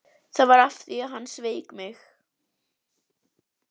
Það var af því að hann sveik mig.